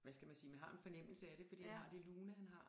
Hvad skal man sige man har en fornemmelse af det fordi han har det lune han har